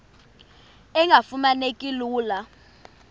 engafuma neki lula